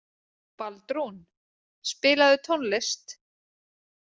Baldrún, spilaðu tónlist.